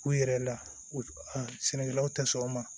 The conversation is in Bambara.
U yɛrɛ la u sɛnɛkɛlaw tɛ sɔn o ma